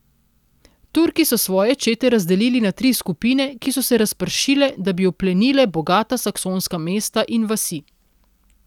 Turki so svoje čete razdelili na tri skupine, ki so se razpršile, da bi oplenile bogata saksonska mesta in vasi.